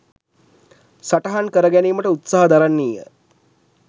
සටහන් කර ගැනීමට උත්සාහ දරන්නීය.